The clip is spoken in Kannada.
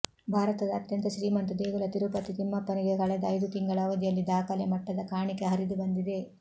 ಭಾರತದ ಅತ್ಯಂತ ಶ್ರೀಮಂತ ದೇಗುಲ ತಿರುಪತಿ ತಿಮ್ಮಪ್ಪನಿಗೆ ಕಳೆದ ಐದು ತಿಂಗಳ ಅವಧಿಯಲ್ಲಿ ದಾಖಲೆ ಮಟ್ಟದ ಕಾಣಿಕೆ ಹರಿದುಬಂದಿದೆ